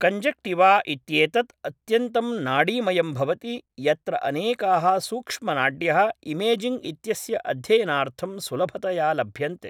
conjunctiva इत्येतत् अत्यन्तं नाडीमयं भवति यत्र अनेकाः सूक्ष्मनाड्यः इमेजिङ्ग् इत्यस्य अध्ययनार्थं सुलभतया लभ्यन्ते